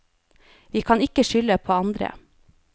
Vi kan ikke skylde på andre.